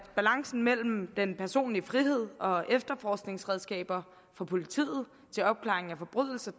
balancen mellem den personlige frihed og efterforskningsredskaberne for politiet til opklaring af forbrydelser